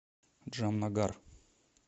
джамнагар